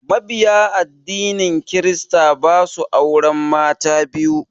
Mabiya addinin kirista ba su auren mata biyu.